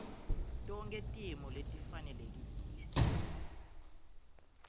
tonkhe timo letifanelekile